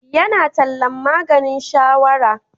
Yana tallan maganin shawara.